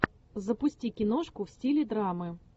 запусти киношку в стиле драмы